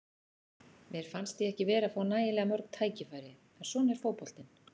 Mér fannst ég ekki vera að fá nægilega mörg tækifæri, en svona er fótboltinn.